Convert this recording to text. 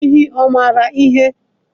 Enyí mara ihe?